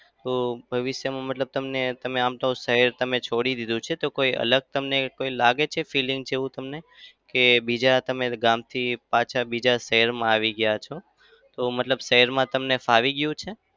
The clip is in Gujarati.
તો ભવિષ્યમાં મતલબ તમને તમે આમ તો તમે શહેર છોડી દીધું છે તો કોઈ અલગ તમને કઈ લાગે છે feeling જેવું તમને? કે બીજા તમે ગામથી પાછા બીજા શહેરમાં આવી ગયા છો તો મતલબ શહેરમાં ફાવી ગયું છે?